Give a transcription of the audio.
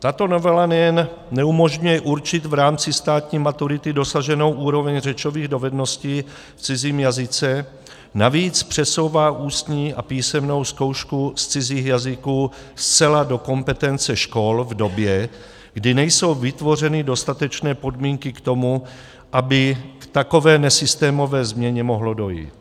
Tato novela nejen neumožňuje určit v rámci státní maturity dosaženou úroveň řečových dovedností v cizím jazyce, navíc přesouvá ústní a písemnou zkoušku z cizích jazyků zcela do kompetence škol v době, kdy nejsou vytvořeny dostatečné podmínky k tomu, aby k takové nesystémové změně mohlo dojít.